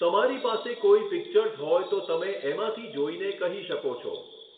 તમારી પાસે કોઈ પિક્ચર્સ હોય તો તમે એમાંથી જોઈને કહી શકો છો